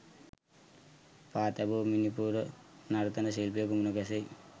පා තැබූ මිණිපුර නර්තන ශිල්පියකු මුණ ගැසෙයි